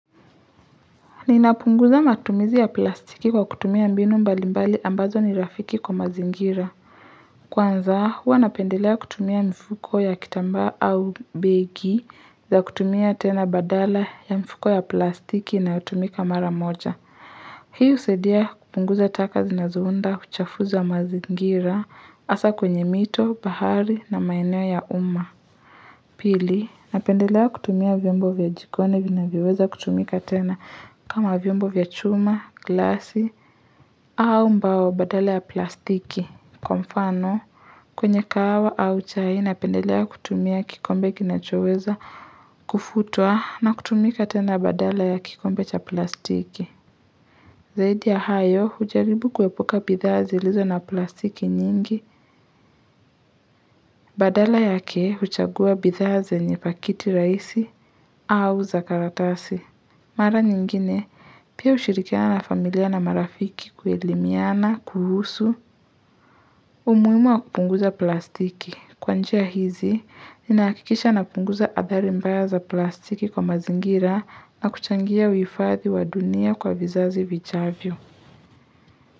Ninapunguza matumizi ya plastiki kwa kutumia mbinu mbali mbali ambazo ni rafiki kwa mazingira. Kwanza, huwa napendelea kutumia mfuko ya kitamba au begi za kutumia tena badala ya mfuko ya plastiki inayotumika mara moja. Hiyo husaidia kupunguza taka zinazounda kuchafuzi wa mazingira hasa kwenye mito, bahari na maeneo ya uma. Pili, napendelea kutumia vyombo vya jikoni vinavyoweza kutumika tena kama vyombo vya chuma, glasi, au mbao badala ya plastiki. Kwa mfano, kwenye kahawa au chai napendelea kutumia kikombe kinachoweza kufutwa na kutumika tena badala ya kikombe cha plastiki. Zaidi ya hayo, hujaribu kuepuka bidhaa zilizo na plastiki nyingi, badala yake huchagua bidhaa zenye pakiti rahisi au za karatasi. Mara nyingine, pia hushirikiana na familia na marafiki kuelimiana, kuhusu, umuhimu wa kupunguza plastiki. Kwa njia hizi, ninahakikisha na kupunguza athari mbaya za plastiki kwa mazingira na kuchangia huifadhi wa dunia kwa vizazi vijavyo.